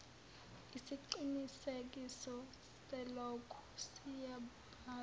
isiqinisekiso salokhu siyobhala